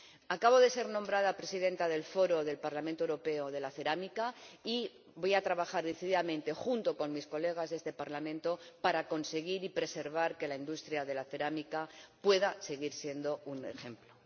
Acabo de ser nombrada presidenta del Foro del Parlamento Europeo de la Cerámica y voy a trabajar decididamente junto con mis colegas de este Parlamento para conseguir que la industria de la cerámica pueda seguir siendo un ejemplo.